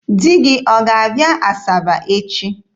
Di gị ọ ga-abịa Asaba echi?